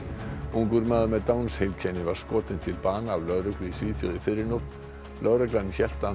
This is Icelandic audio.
ungur maður með Downs heilkenni var skotinn til bana af lögreglu í Svíþjóð í fyrrinótt lögregla hélt að